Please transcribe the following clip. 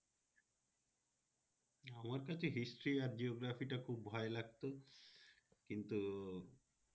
আমার কাছে history আর geography টা খুব ভয় লাগতো কিন্তু,